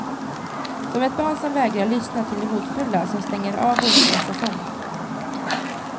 Som ett barn som vägrar lyssna till det hotfulla, som stänger av och inte låtsas om.